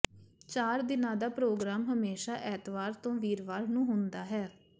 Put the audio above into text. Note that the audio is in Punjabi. ਚਾਰ ਦਿਨਾਂ ਦਾ ਪ੍ਰੋਗਰਾਮ ਹਮੇਸ਼ਾ ਐਤਵਾਰ ਤੋਂ ਵੀਰਵਾਰ ਨੂੰ ਹੁੰਦਾ ਹੈ